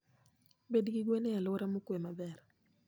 Bed gi gwen e alwora mokuwe maber.